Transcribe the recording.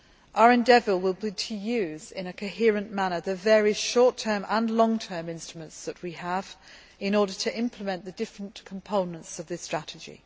Our endeavour will be to use, in a coherent manner, the short term and long term instruments that we have in order to implement the different components of this strategy.